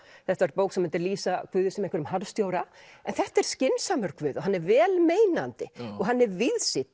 þetta væri bók sem myndi lýsa Guði sem einhverjum harðstjóra en þetta er skynsamur Guð og hann er vel meinandi og hann er víðsýnn